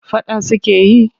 Faɗa suke yi?